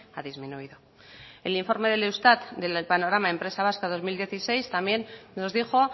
ha disminuido el informe del eustat del panorama empresa vasca dos mil dieciséis también nos dijo